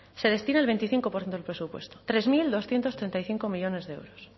se destina el veinticinco por ciento del presupuesto tres mil doscientos treinta y cinco millónes de euros